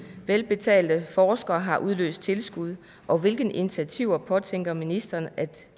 velbetalte forskere har udløst tilskud og hvilke initiativer påtænker ministeren at